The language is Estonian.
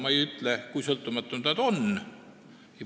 Teiseks, meie kohtusüsteem on sõltumatu teistest võimuharudest.